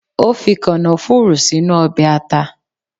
Ó fi kànáfùrù sínú Obè ata